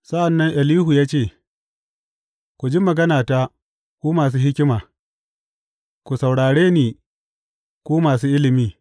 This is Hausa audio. Sa’an nan Elihu ya ce, Ku ji maganata, ku masu hikima; ku saurare ni, ku masu ilimi.